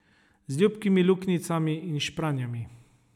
Z ljubkimi luknjicami in špranjami.